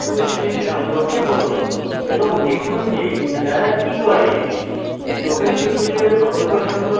এবং দেখুন যে তারা কি করে